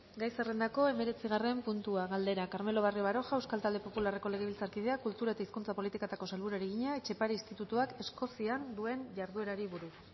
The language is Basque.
gai zerrendako hemeretzigarren puntua galdera carmelo barrio baroja euskal talde popularreko legebiltzarkideak kultura eta hizkuntza politikako sailburuari egina etxepare institutuak eskozian duen jarduerari buruz